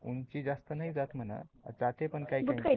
उंची जास्त नाही जात मन जाते पण काही काही